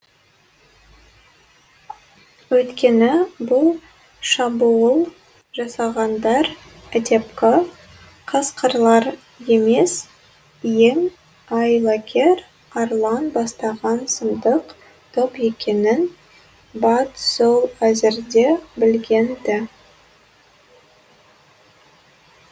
өйткені бұл шабуыл жасағандар әдепкі қасқырлар емес ең айлакер арлан бастаған сұмдық топ екенін бат сол әзірде білген ді